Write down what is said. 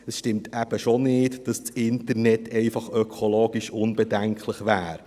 Es stimmt eben schon nicht, dass das Internet ökologisch einfach unbedenklich wäre.